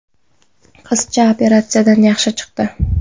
Qizcha operatsiyadan yaxshi chiqdi.